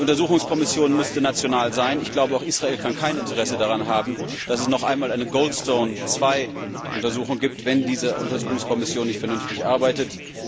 Die Untersuchungskommission müsste national sein, ich glaube, aber auch Israel kann kein Interesse daran haben, dass es noch einmal eine Goldstone 2 Untersuchung gibt, wenn diese Untersuchungskommission nicht vernünftig arbeitet.